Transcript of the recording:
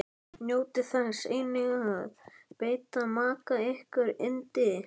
Njótið þess einnig að veita maka ykkar yndi.